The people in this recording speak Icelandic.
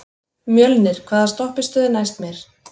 Mjölnir, hvaða stoppistöð er næst mér?